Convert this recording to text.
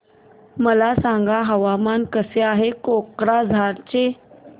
मला सांगा हवामान कसे आहे कोक्राझार चे